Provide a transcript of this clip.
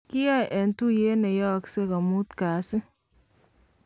kiyoe eng' tuiyet neyooksei ko mut kasi